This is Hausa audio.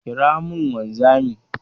Ƙira mun wanzamin!